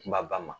Kumaba ma